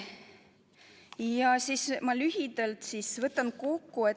Ja nüüd ma lühidalt võtan kokku.